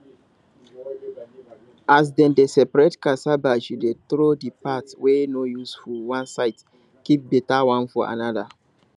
as dem dey separate cassava she dey throw the part wey no useful one side keep better one for another